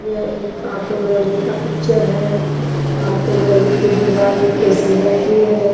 यह एक auto gallery का पिक्चर है ऑटो गैलरी की दीवार एक केसरी रंग की है।